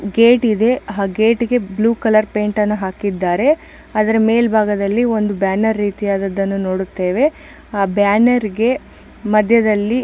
Gate ಇದೆ ಅದಕ್ಕೆ blue colour paint ಹಾಕಿದ್ದಾರೆ ಒಂದು ಬ್ಯಾನರ್ ಇದೆ. ಆ ಬ್ಯಾನರ್ ಗೆ ಮದ್ಯದಲ್ಲಿ --